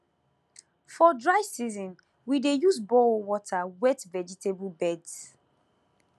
for dry season we dey use borehole water wet vegetable beds